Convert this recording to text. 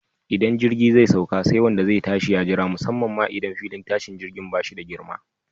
Idan jirgi zai sauka, sai wanda zai tashi ya jira, musamman ma idan filin tashin jirgin ba shi da girma.